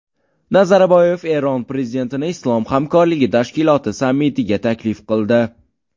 Nazarboyev Eron prezidentini Islom hamkorligi tashkiloti sammitiga taklif qildi.